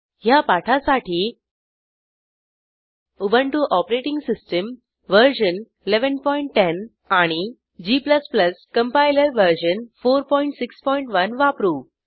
ह्या पाठासाठी Ubuntu OS version 1110 आणि g कंपाइलर वर्जन 461 वापरू